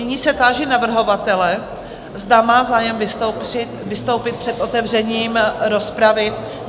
Nyní se táži navrhovatele, zda má zájem vystoupit před otevřením rozpravy?